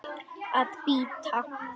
Að bíta.